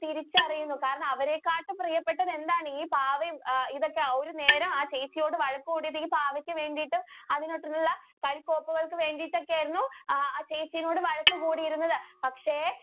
തിരിച്ചറിയുന്നു കാരണം അവരെ കാട്ടും പ്രിയപ്പെട്ടത് എന്തായിരുന്നു ഈ പാവയും ഇതൊക്കെ ആയിരുന്നു ഏറെ ആ ചേച്ചിയോട് വഴക്കു കൂടിയത് ഈ പാവയ്ജ്ക്ക് വേണ്ടിട്ട് അതുപോലുള്ള കളിക്കോപ്പുകൾക്ക് വേണ്ടിട്ട് ഒക്കെ ആയിരുന്നു ആ ചേച്ചിയോട് വഴക്കു കുടിയിരുന്നത് പക്ഷെ.